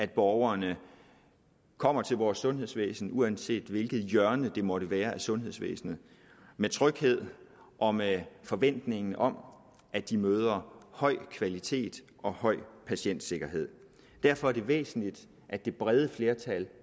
borgerne kommer til vores sundhedsvæsen uanset hvilket hjørne det måtte være af sundhedsvæsenet med tryghed og med forventning om at de møder høj kvalitet og høj patientsikkerhed derfor er det væsentligt at det brede flertal